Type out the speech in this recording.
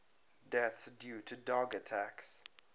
deaths due to dog attacks